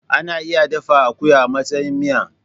Ana iya dafa akuya a matsayin miya.